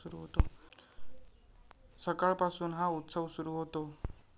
सकाळपासून हा उत्सव सुरु होतो.